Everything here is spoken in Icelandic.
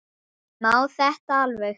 Má þetta alveg?